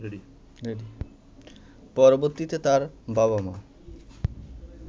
পরবর্তীতে তার বাবা-মা